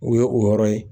O ye o yɔrɔ ye